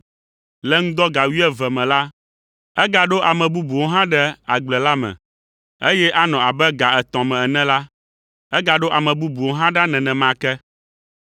Le ŋdɔ ga wuieve me la, egaɖo ame bubuwo hã ɖe agble la me, eye anɔ abe ga etɔ̃ me ene la, egaɖo ame bubuwo hã ɖa nenema ke.